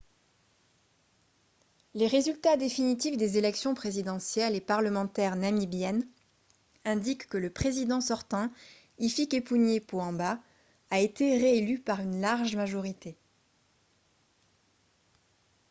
les résultats définitifs des élections présidentielles et parlementaires namibiennes indiquent que le président sortant hifikepunye pohamba a été réélu par une large majorité